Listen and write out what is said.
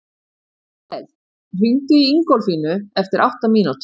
Gael, hringdu í Ingólfínu eftir átta mínútur.